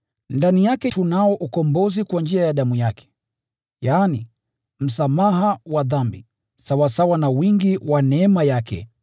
Ndani yake tunao ukombozi kwa njia ya damu yake, yaani, msamaha wa dhambi, sawasawa na wingi wa neema yake